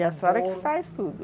E a senhora que faz tudo?